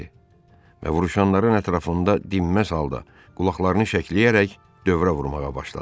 Və vuruşanların ətrafında dinməz halda qulaqlarını şəkləyərək dövrə vurmağa başladı.